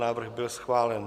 Návrh byl schválen.